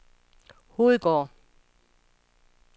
Hovedgård